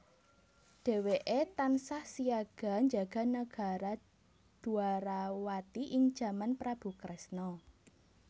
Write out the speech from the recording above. Dhéwéké tansah siyaga njaga nagara Dwarawati ing jaman Prabu Kresna